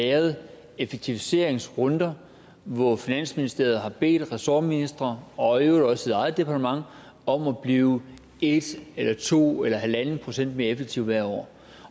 været effektiviseringsrunder hvor finansministeriet har bedt ressortministre og i øvrigt også sit eget departement om at blive en eller to eller en en halv procent mere effektivt hvert år